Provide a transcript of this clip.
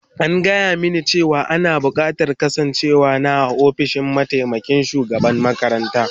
An gaya mini cewa ana bukatar kasancewar na a ofishin mataimakin shugaban makaranta